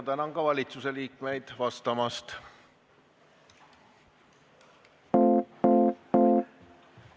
Tänan valitsusliikmeid vastamast!